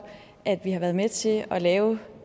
at vi har været med til at lave